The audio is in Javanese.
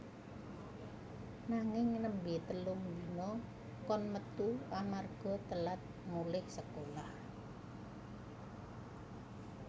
Nanging nembe telung dina kon metu amarga telat mulih sekolah